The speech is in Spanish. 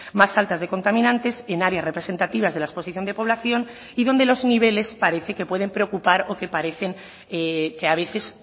más altas de contaminantes y nadie representativas de la exposición de población y donde los niveles parece que pueden preocupar o que parecen que a veces